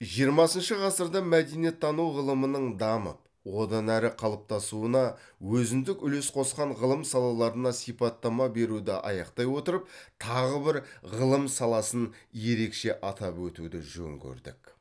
жиырмасыншы ғасырда мәдениеттану ғылымының дамып одан әрі қалыптасуына өзіндік үлес қосқан ғылым салаларына сипаттама беруді аяқтай отырып тағы бір ғылым саласын ерекше атап өтуді жөн көрдік